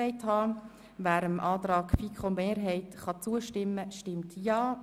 Wer dem Antrag der FiKoMehrheit zustimmen kann, stimmt Ja.